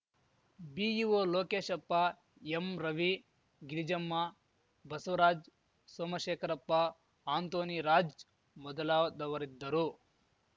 BEO Lokeshappa M Ravi Girijamma Basavaraj Somashekharappa Antony Raj ಮೊದಲಾದವರಿದ್ದರು